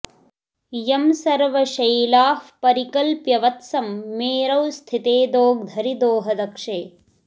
यं सर्वशैलाः परिकल्प्य वत्सं मेरौ स्थिते दोग्धरि दोहदक्षे